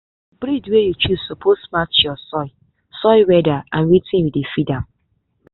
the breed wey you choose suppose match your soil soil weather and wetin you dey feed am.